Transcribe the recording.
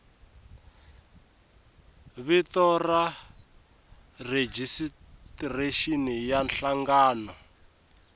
vito ra rejistrexini ya nhlangano